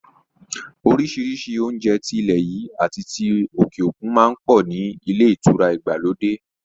Orísìírísìí oúnjẹ ti ilẹ̀ yìí àti ti òkè òkun má ń pọ̀ ní ilé ìtura ìgbàlódé